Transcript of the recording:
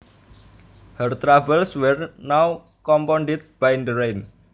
Her troubles were now compounded by the rain